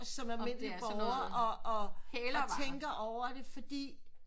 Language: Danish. Som almindelig borger og og tænker over det fordi